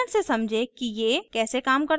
उदाहरण से समझें कि ये कैसे काम करता है